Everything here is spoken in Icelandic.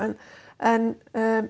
en en